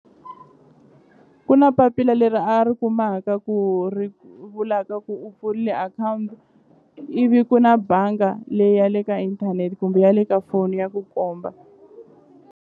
Ku na papila leri a ri kumaka ku ri vulaka ku u pfulile akhawunti ivi ku na banga leyi ya le ka inthanete kumbe ya le ka foni ya ku komba.